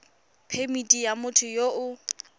phemithi ya motho yo o